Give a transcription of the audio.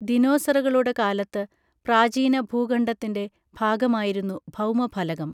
ദിനോസറുകളുടെ കാലത്ത് പ്രാചീന ഭൂഖണ്ഡത്തിൻറെ ഭാഗമായിരുന്നു ഭൗമ ഫലകം